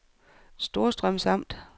Storstrøms Amt